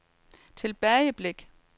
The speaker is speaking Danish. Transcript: tilbageblik